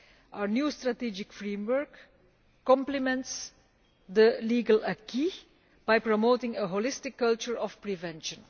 Our new strategic framework complements the legal acquis by promoting a holistic culture of prevention.